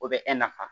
O bɛ nafa